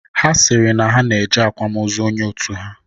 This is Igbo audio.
Ha sịrị na ha na-eje akwamozu onye otu ha.